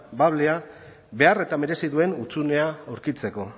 bablea behar eta merezi duen hutsunea aurkitzeko